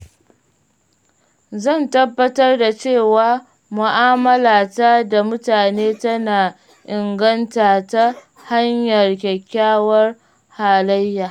Zan tabbatar da cewa mu’amalata da mutane tana inganta ta hanyar kyakkyawar halayya.